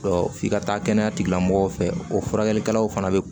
f'i ka taa kɛnɛya tigilamɔgɔw fɛ o furakɛlikɛlaw fana bɛ